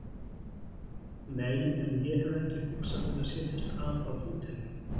Nei, en ég hef ekki hugsað mér að setjast að á hóteli